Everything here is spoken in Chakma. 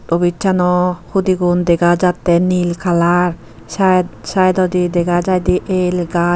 obissano hudigun dega jattey nil kalar saed saidodi dega jaidey el gaaj.